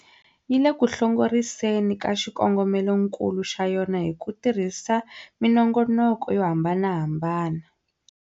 Yi le ku hlongoriseni ka xikongomelokulu xa yona hi ku tirhisa minongoloko yo hambanahambana.